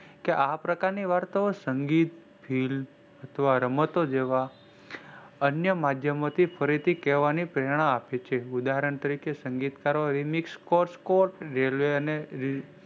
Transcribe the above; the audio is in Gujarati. આ પ્રકારની વારતા નો સંગીત ફીલ અથવા રમતો જેવા અન્ય માધ્યોમી ફરી થી કહેવાની પ્રેરણા આપે છે. ઉદાહરણ તરીકે સંગીતકરો રેલ્વેને,